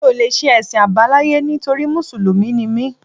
Mi ò lè ṣe Ẹ̀sìn Àbáláyé nítorí Mùsùlùmí ni mí.